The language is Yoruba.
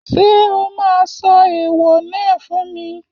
Ṣé o máa sọ ẹ̀ẹ̀wọ̀ náà fún mi?